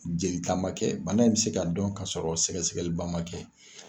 Jeli ta ma kɛ, bana in bɛ se ka dɔn ka sɔrɔ sɛgɛsɛgɛli ba ma kɛ.